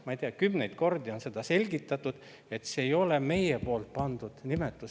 Ma ei tea, kümneid kordi on seda selgitatud, et see ei ole meie pandud nimetus.